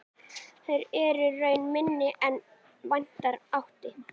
Eru þær raunar minni en vænta mátti.